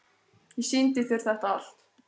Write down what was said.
Ég sýndi þér þetta allt.